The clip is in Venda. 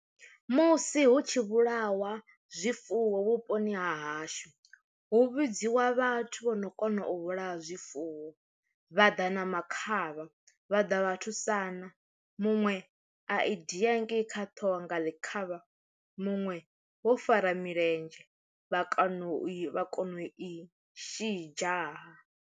Musi hu tshi vhulawa zwifuwo vhuponi ha hashu hu vhidziwa vhathu vho no kona u vhulaya zwifuwo vha ḓa na makhaha vha ḓa vhathu sana, muṅwe a i da hangei kha ṱhoho nga ḽi khavha muṅwe wo fara milenzhe vha kono u i vha kona u i shidzha ha.